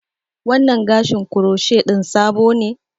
Wannan gashin croshe ɗin sabo ne?